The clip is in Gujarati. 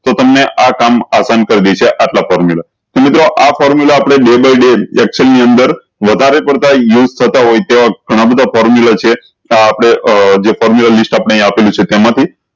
તો તમને આ કામ આસન કર દેશે આટલા formula તો મિત્રો આ formula આપળે day by day excel ની અંતર વધારે પડતા use થતા હોય છે ઘણા બધા formula છે ત આપળે જે formula list આપળે અય્યીયા આપેલું છે તેમા થી